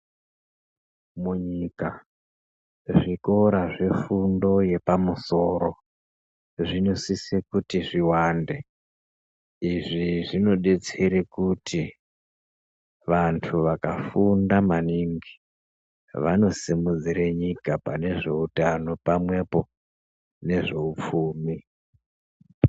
Munyika, zvikora zvefundo yepamusoro, zvinosise kuti zviwande. Izvi zvinodetsere kuti ,vanhu vakafunda maningi ,vanosimudzire nyika pane zveutano pamwepo, nezveupfumi.